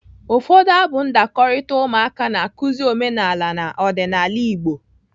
Ụfọdụ abụ ndakọrita ụmụaka na-akụzi omenala na ọdịnaala Igbo.